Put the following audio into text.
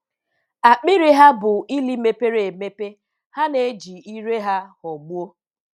Akpịrị ha bụ ili mepere emepe; ha na-eji ire ha ghọgbuo.